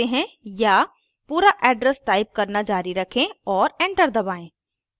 या पूरा address type करना जारी रखें और enter दबाएं